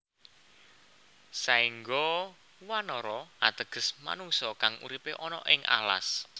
Saengga Wanara ateges manungsa kang uripe ana ing alas